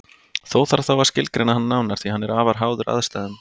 Þó þarf þá að skilgreina hann nánar því að hann er afar háður aðstæðum.